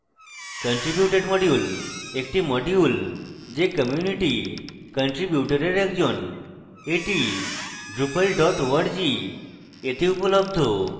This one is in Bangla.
contributed module একটি module যে community কান্ট্রিবিউটরের একজন এটি drupal org তে উপলব্ধ